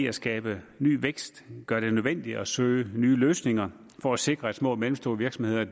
at skabe ny vækst gør det nødvendigt at søge nye løsninger for at sikre at de små og mellemstore virksomheder